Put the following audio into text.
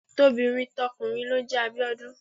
Tobìnrin tọkùnrin ló ń jẹ Abíọ́dún.